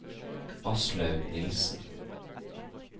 Aslaug Nilssen